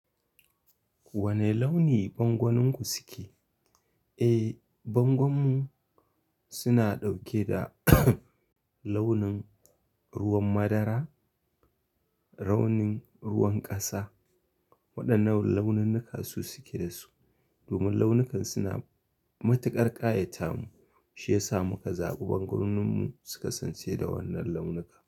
Wane launi bangoninku suke? Eh, bangonmu suna ɗauke da launin ruwan madara, raunin ruwan ƙasa, waɗannan launinnuka su suke da su. Domin launukan suna matuƙar ƙayata mu, shi ya sa muka zaɓi bangoninmu su kasance da wannan launuka.